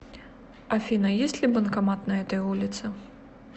афина есть ли банкомат на этой улице